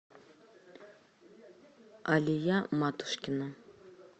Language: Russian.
алия матушкина